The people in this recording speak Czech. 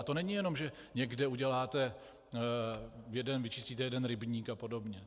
A to není jenom že někde uděláte, vyčistíte jeden rybník a podobně.